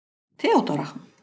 Theódóra